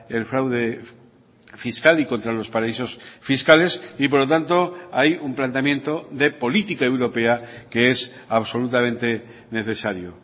el fraude fiscal y contra los paraísos fiscales y por lo tanto hay un planteamiento de política europea que es absolutamente necesario